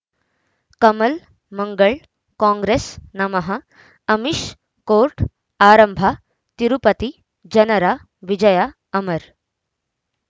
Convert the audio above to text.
ಕಮಲ್ ಮಂಗಳ್ ಕಾಂಗ್ರೆಸ್ ನಮಃ ಅಮಿಷ್ ಕೋರ್ಟ್ ಆರಂಭ ತಿರುಪತಿ ಜನರ ವಿಜಯ ಅಮರ್